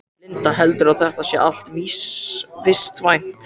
Linda: Heldurðu að þetta sé allt vistvænt?